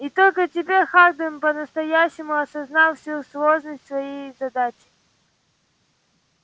и только теперь хардин по-настоящему осознал всю сложность своей задачи